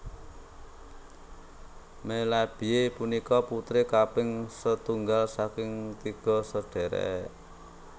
Melabey punika putri kaping setunggal saking tiga sadhèrèk